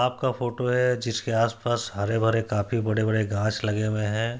तालाब का फोटो है जिसके आसपास हरे-भरे काफी बड़े-बड़े घास लगे हुए हैं।